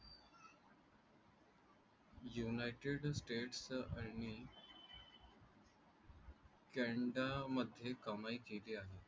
United States आणि कॅनडामध्ये कमाई केली आहे.